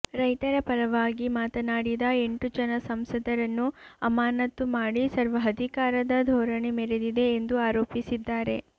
ರೈತರ ಪರವಾಗಿ ಮಾತನಾಡಿದ ಎಂಟು ಜನ ಸಂಸದರನ್ನು ಅಮಾನತು ಮಾಡಿ ಸರ್ವಾಧಿಕಾರದ ಧೋರಣೆ ಮೆರೆದಿದೆ ಎಂದು ಆರೋಪಿಸಿದ್ದಾರೆ